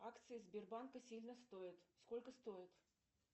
акции сбербанка сильно стоят сколько стоят